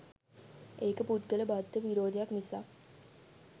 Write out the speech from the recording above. ඒක පුද්ගල බද්ධ විරෝධයක් මිසක්